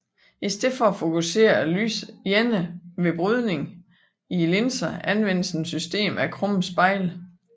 I stedet for at fokusere lyset alene ved brydning i linser anvendes et system af krumme spejle